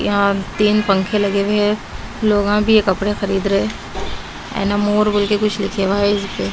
तीन पंखे लगे हुए हैं लोग भी ये कपड़े खरीद रहे हैं एनामोर बोल के कुछ लिखे हुआ है।